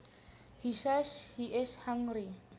He says he is hungry